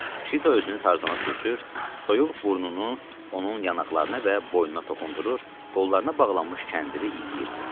Şita özünü Tarzana sürtür, soyuq burnunu onun yanaqlarına və boynuna toxundurur, qollarına bağlanmış kəndiri iyirdi.